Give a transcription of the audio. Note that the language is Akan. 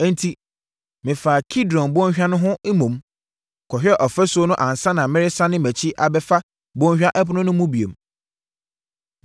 Enti, mefaa Kidron Bɔnhwa no ho mmom, kɔhwɛɛ ɔfasuo no ansa na meresane mʼakyi abɛfa Bɔnhwa Ɛpono no mu bio.